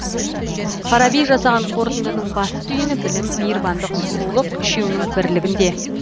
фараби жасаған қортындының басты түйіні білім мейірбандық сұлулық үшеуінің бірлігінде